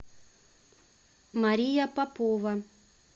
мария попова